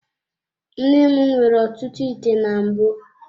Nne m nwere ọtụtụ ite na mbụ.